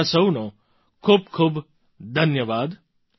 તમારા સહુનો ખૂબ ખૂબ ધન્યવાદ